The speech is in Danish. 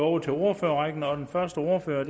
over til ordførerrækken og den første ordfører